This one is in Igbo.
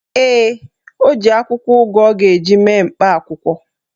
Ee, o ji akwụkwọ ugu ọ ga-eji mee mkpa akwụkwọ.